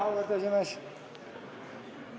Auväärt esimees!